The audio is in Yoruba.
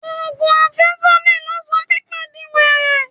Ogùn afesodi ló sọ Pípé di were.